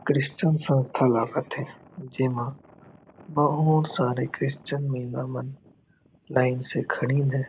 Christian संस्था लागत हे जेमा बहुत सारे क्रिस्चियन महिला मन लाइन से खड़ीन हे ।